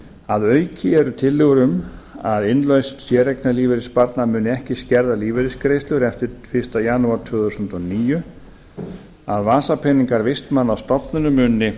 að auki eru tillögur um að innlausn séreignarlífeyrissparnaðar muni ekki skerða lífeyrisgreiðslur eftir fyrsta janúar tvö þúsund og níu að vasapeningar vistmanna á stofnunum muni